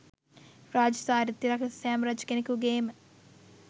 රාජ්‍ය චාරිත්‍රයක් ලෙස සෑම රජ කෙනෙකුගේම